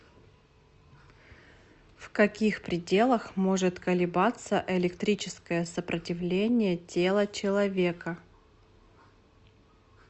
в каких пределах может колебаться электрическое сопротивление тела человека